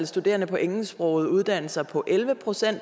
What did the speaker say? studerende på engelsksprogede uddannelser lå på elleve procent